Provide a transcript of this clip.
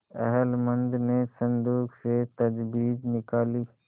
अहलमद ने संदूक से तजबीज निकाली